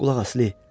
Qulaq as, Li.